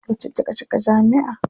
Yauce kika shiga jami'a.